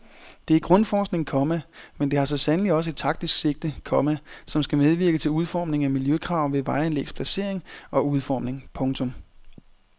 Det er grundforskning, komma men det har så sandelig også et taktisk sigte, komma som skal medvirke til udformning af miljøkrav ved vejanlægs placering og udformning. punktum